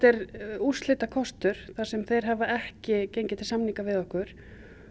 er úrslitakostur þar sem þeir hafa ekki gengið til samninga við okkur